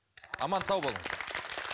аман сау болыңыздар